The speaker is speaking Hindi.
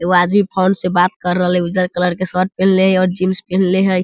एगो आदमी फ़ोन से बात कर रहलइ उज्जर कलर के शर्ट पहनले हइ और जीन्स पहिनले हइ ।